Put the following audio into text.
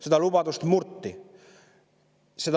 Seda lubadust murti.